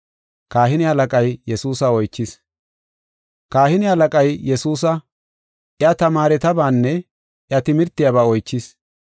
Kahine halaqay Yesuusa, iya tamaaretabaanne iya timirtiyaba oychis.